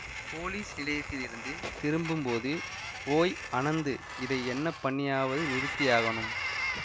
police நிலையத்திலிருந்து திரும்பும்போது ஓய் அனந்து இதை என்ன பண்ணியாவது நிறுத்தியாகணும்